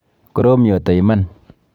Korom yoto iman.